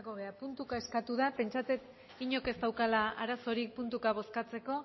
gara puntuka eskatu da pentsatzen dut inork ez daukala arazorik puntuka bozkatzeko